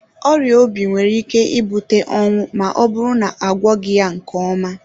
Ọrịa obi nwere ike ibute ọnwụ ma ọ bụrụ na agwọghị ya nke ọma.